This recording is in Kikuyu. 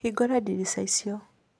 Hingũra ndirica icio.